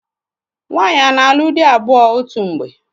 Nwaanyị a na-alụ di abụọ otu mgbe?